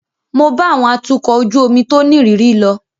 Mo bá àwọn atukọ̀ ojú omi tó nírìírí lọ.